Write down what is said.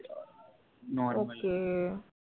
normal ok